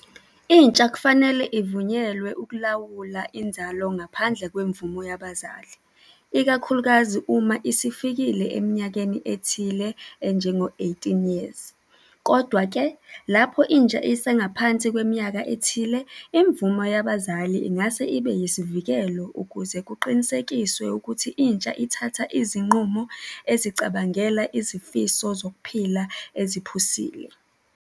Intsha kufanele ivunyelwe ukulawula inzalo ngaphandle kwemvumo yabazali, ikakhulukazi uma isifikile eminyakeni ethile enjengo-eighteen years. Kodwa-ke, lapho intsha isengaphansi kweminyaka ethile, imvumo yabazali ingase ibe yisivikelo ukuze kuqinisekiswe ukuthi intsha ithatha izinqumo ezicabangela izifiso zokuphila eziphusile.